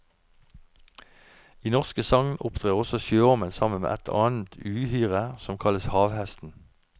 I norske sagn opptrer også sjøormen sammen med et annet uhyre som kalles havhesten.